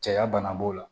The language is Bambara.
Caya bana b'o la